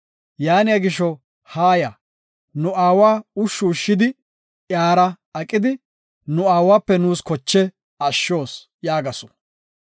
Yaaniya gisho, haaya! Nu aawa ushshu ushshidi, iyara aqidi, nu aawape nuus koche ashshos” yaagasu.